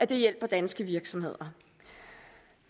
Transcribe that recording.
det hjælper danske virksomheder